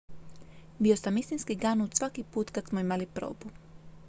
"""bio sam istinski ganut svaki put kad smo imali probu.""